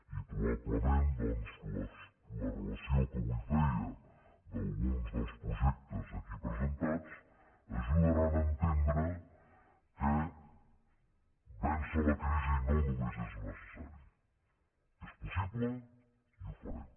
i probablement doncs la relació que avui feia d’alguns dels projectes aquí presentats ajudarà a entendre que vèncer la crisi no només és necessari és possible i ho farem